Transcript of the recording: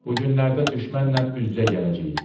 Bu günlərdə düşmənlə üz-üzə gələcəyik.